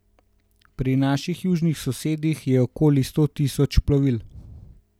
Pri naših južnih sosedih je okoli sto tisoč plovil.